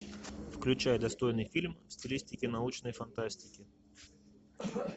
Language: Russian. включай достойный фильм в стилистике научной фантастики